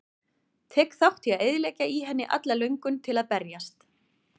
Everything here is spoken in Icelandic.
Tek þátt í að eyðileggja í henni alla löngun til að berjast.